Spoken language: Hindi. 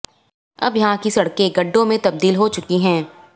अब यहां की सड़कें गड्डों में तबदील हो चुकी हैं